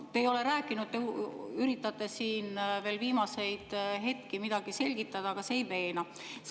Te ei ole rääkinud, te üritate siin veel viimasel hetkel midagi selgitada, aga see ei veena.